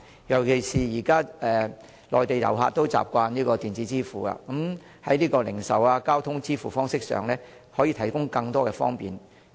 尤其是內地遊客現時已習慣採用電子支付方式，當局會否在零售和交通支付方式上為他們提供更多便利？